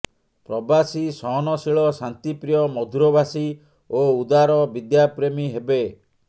ପ୍ରବାସୀ ସହନଶୀଳ ଶାନ୍ତିପ୍ରିୟ ମଧୁରଭାଷୀ ଓ ଉଦାର ବିଦ୍ୟାପ୍ରେମୀ ହେବେ